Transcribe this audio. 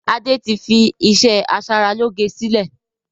Adé tí fi iṣẹ́ asaralóge sílẹ̀